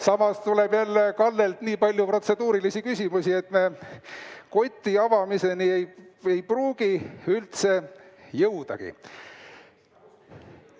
Samas tuleb jälle Kallelt nii palju protseduurilisi küsimusi, et me koti avamiseni ei pruugi üldse jõudagi.